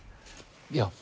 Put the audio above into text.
já